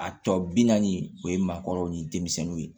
A tɔ bi naani o ye maakɔrɔw ni denmisɛnninw ye